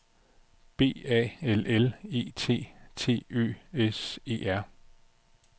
B A L L E T T Ø S E R